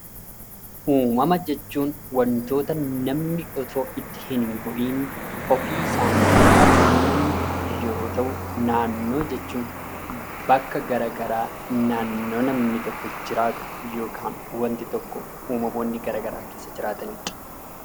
Uummama jechuun wantoota namni otoo itti hin bu'iin ofii isaaniitiin kan uummaman yeroo ta'u, naannoo jechuun bakka garagaraa naannoo namni tokko jiraatu yookaan wanti tokko uummamoonni garagaraa keessa jiraatanidha.